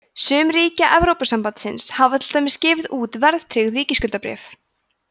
sum ríkja evrópusambandsins hafa til dæmis gefið út verðtryggð ríkisskuldabréf